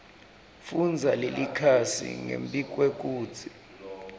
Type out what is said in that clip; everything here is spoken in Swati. fundza lelikhasi ngembikwekutsi